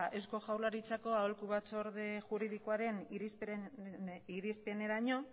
eusko jaurlaritzako aholku batzorde juridikoaren irizpideraino